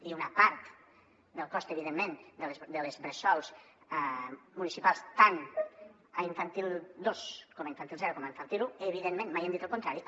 i una part del cost evidentment de les bres·sol municipals tant a infantil dos com a infantil zero com a infantil un evidentment mai hem dit el contrari